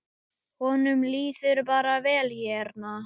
Honum líður bara vel hérna.